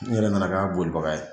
N yɛrɛ nana k'a bolibaga ye